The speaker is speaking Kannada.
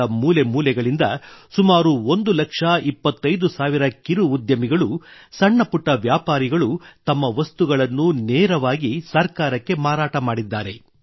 ದೇಶದ ಮೂಲೆಮೂಲೆಗಳಿಂದ ಸುಮಾರು 1 ಲಕ್ಷ 25 ಸಾವಿರ ಕಿರು ಉದ್ಯಮಿಗಳು ಸಣ್ಣ ಪುಟ್ಟ ವ್ಯಾಪಾರಿಗಳು ತಮ್ಮ ವಸ್ತುಗಳನ್ನು ನೇರವಾಗಿ ಸರ್ಕಾರಕ್ಕೆ ಮಾರಾಟ ಮಾಡಿದ್ದಾರೆ